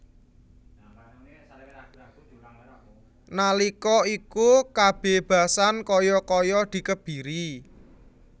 Nalika iku kabebasan kaya kaya dikebiri